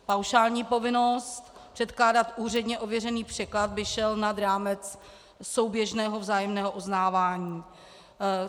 Paušální povinnost předkládat úředně ověřený překlad by šel nad rámec souběžného vzájemného uznávání.